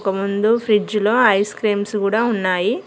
ఒక ముందు ఫ్రిజ్ లో ఐస్ క్రీమ్స్ గూడ ఉన్నాయి.